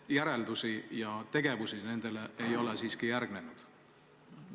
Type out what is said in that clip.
Järeldusi ja tegevust nendele ei ole järgnenud.